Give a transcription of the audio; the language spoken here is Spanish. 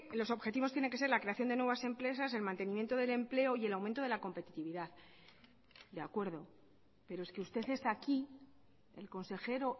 los objetivos tiene que ser la creación de nuevas empresas el mantenimiento del empleo y el aumento de la competitividad de acuerdo pero es que usted está aquí el consejero